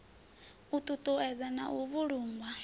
u ṱuṱuwedziwa na u vhulungwa